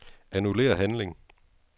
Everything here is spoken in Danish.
Annullér handling.